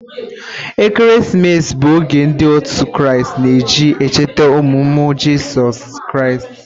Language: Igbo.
Ekeresimesi bụ oge ndị òtù Kraịst na-eji echeta ọmụmụ Jizọs Kraịst.